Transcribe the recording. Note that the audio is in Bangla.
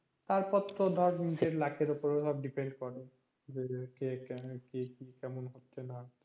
তারপর তো ধর নিজের luck এর উপরে সব depend করে যে কে কেমন কি কেমন হচ্ছে